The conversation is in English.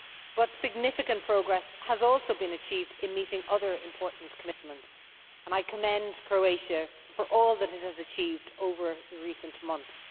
But significant progress has also been achieved in meeting other important commitments, and I commend Croatia for all that it has achieved over recent months.